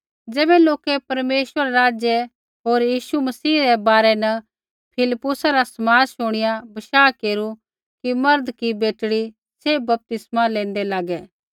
ज़ैबै लोकै परमेश्वरा रै राज्य होर यीशु मसीह रै बारै न फिलिप्पुसा रा समाद शुणिया बशाह केरू कि मर्द कि बेटड़ी सैभ बपतिस्मा लेन्दै लागै